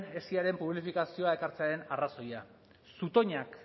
esiren publifikazioa ekartzearen arrazoia zutoinak